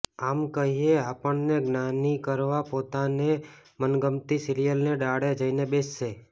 આમ કહીએ આપણને જ્ઞાની કરવા પોતાને મનગમતી સિરીયલની ડાળે જઈને બેસશે